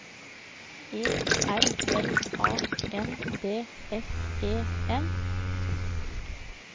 E R L A N D S E N